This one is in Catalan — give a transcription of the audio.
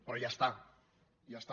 però ja està ja està